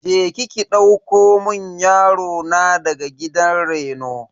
Je ki ki ɗauko mun yaro na daga gidan reno.